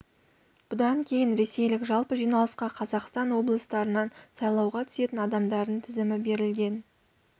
бұдан кейін ресейлік жалпы жиналысқа қазақстан облыстарынан сайлауға түсетін адамдардың тізімі берілген